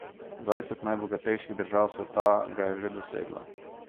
Dvajset najbogatejših držav sveta ga je že doseglo.